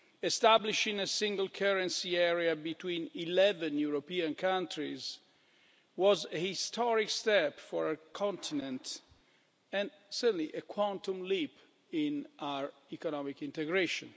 Establishing a single currency area between 11 European countries was a historic step for our continent and certainly a quantum leap in our economic integration.